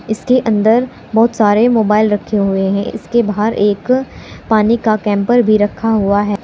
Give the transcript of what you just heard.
इसके अंदर बहुत सारे मोबाइल रखे हुए हैं इसके बाहर एक पानी का कैंपर भी रखा हुआ है।